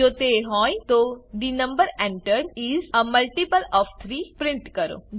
જો તે હોય તો the number entered is a multiple of 3 print કરો